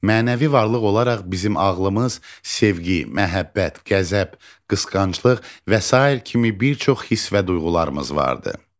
Mənəvi varlıq olaraq bizim ağlımız, sevgi, məhəbbət, qəzəb, qısqanclıq və sair kimi bir çox hiss və duyğularımız vardır.